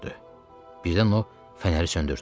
Birdən o fənəri söndürdü.